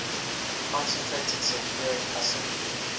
concentrated sulfuric acid